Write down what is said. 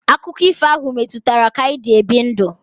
Akụkọ ifo ahụ metụtara ka anyị dị ebi ndụ.